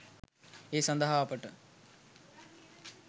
ඒ සදහා අපට